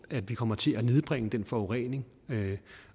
at vi kommer til at nedbringe den forurening